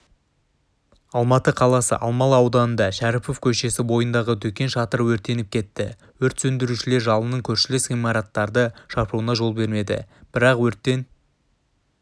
алматы қаласы алмалы ауданында шәріпов көшесі бойындағы дүкен шатыры өртеніп кетті өрт сөндірушілер жалынның көршілес ғимараттарды шарпуына жол бермеді бірақ өрттен